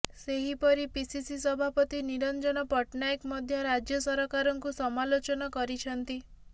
ସେହିପରି ପିସିସି ସଭାପତି ନିରଞ୍ଜନ ପଟ୍ଟନାୟକ ମଧ୍ୟ ରାଜ୍ୟ ସରକାରଙ୍କୁ ସମାଲୋଚନା କରିଛନ୍ତି